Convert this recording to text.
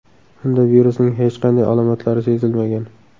Unda virusning hech qanday alomatlari sezilmagan.